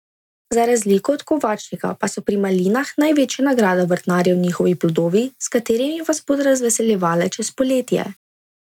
Za razliko od kovačnika pa so pri malinah največja nagrada vrtnarjev njihovi plodovi, s katerimi vas bodo razveseljevale čez poletje.